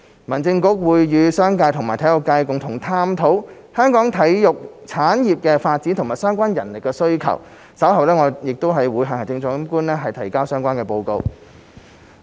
民政局會與商界和體育界共同探討香港體育產業的發展及相關人力需求，稍後會向行政長官提交相關報告。